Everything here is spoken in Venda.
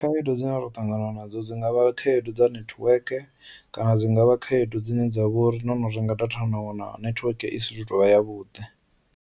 Khaedu dzine ra ṱangana nadzo dzi ngavha khaedu dza network kana dzi ngavha khaedu dzine dza vha uri no no renga data na wana netiweke i si tuvha ya vhuḓi.